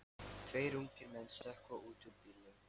Tveir ungir menn stökkva út úr bílnum.